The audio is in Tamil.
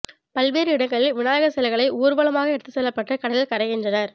பல்வேறு இடங்களில் விநாயகர் சிலைகளை ஊர்வலமாக எடுத்து செல்லப்பட்டு கடலில் கரைக்கின்றனர்